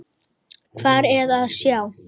Hvað er að sjá